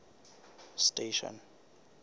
station